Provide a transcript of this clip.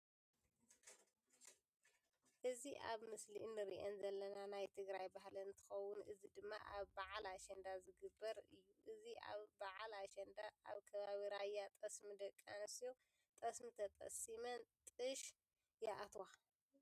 እዚ ኣብ ምስሊ እንሪአን ዘለና ናይ ትግራይ ባህሊ እንትከውን እዚ ድማ ኣብ በዓል አሸዳ ዝክግበር እዩ። እዚ ኣብ ዓል አሸንዳ ኣብ ከባቢ ራያ ጠስሚ ደቂ ኣነስትዮ ጠስሚ ተጠስሚን ጥሽ ይኣትዋ።